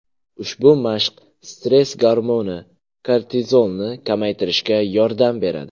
Ushbu mashq stress gormoni – kortizolni kamaytirishga yordam beradi.